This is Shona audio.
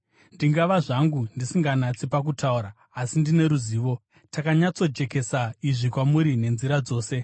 Ndingava zvangu ndisinganatsi pakutaura, asi ndine ruzivo. Takanyatsojekesa izvi kwamuri nenzira dzose.